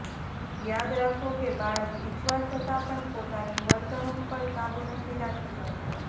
યાદ રાખો કે બાળક ઈચ્છવા છતાં પણ પોતાની વર્તણુંક પર કાબુ નથી રાખી શકતુ